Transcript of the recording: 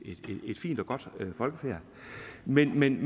fint og godt folkefærd men men